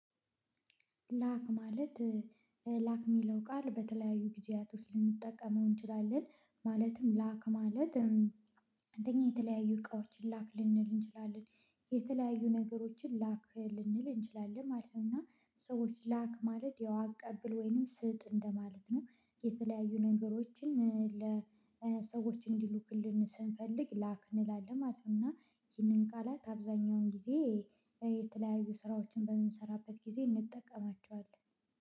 ላክ ማለት ላክ ሚለው ቃል በተለያዩ ጊዜያቶች ልንጠቀመው እንችላለን ማለትም ላክ ማለት አንግዲህ የተለያዩ እቃዎችን ላክ ልንል እንችላለን የተለያዩ ነገሮችን ላክ ልንል እንችላለን ማለት ነው። እና ሰዎች ላክ ማለት ያው አቀብል ወይንም ስጥ እንደማለት ነው የተለያዩ ነገሮችን ለሰዎች እንዲልኩልን ስንፈልግ ላክ እንላለን ማለት ነው። እና ይህንን ቃላት አብዛኛውን ጊዜ የተለያዩ ስራዎችን በምንሰራበት ጊዜ ምእንጠቀማቸዋለን።